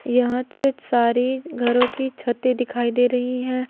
यहां से सारे घरों की छतें दिखाई दे रही हैं।